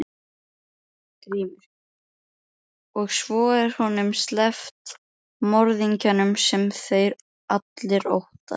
GRÍMUR: Og svo er honum sleppt, morðingjanum, sem allir óttast!